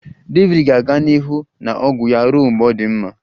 David ga-aga n'ihu na ọgwụ ya ruo mgbe ọ dị mma